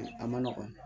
A ma nɔgɔn